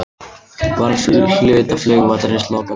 Var hluta flugvallarins lokað vegna málsins